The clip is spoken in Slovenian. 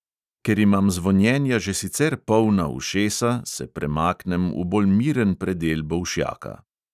Ker imam zvonjenja že sicer polna ušesa, se premaknem v bolj miren predel bolšjaka.